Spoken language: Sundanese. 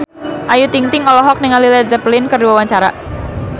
Ayu Ting-ting olohok ningali Led Zeppelin keur diwawancara